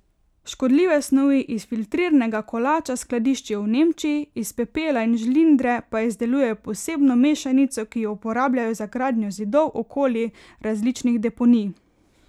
Škodljive snovi iz filtrirnega kolača skladiščijo v Nemčiji, iz pepela in žlindre pa izdelujejo posebno mešanico, ki jo uporabljajo za gradnjo zidov okoli različnih deponij.